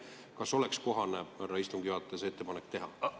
Kas oleks kohane, härra istungi juhataja, see ettepanek teha?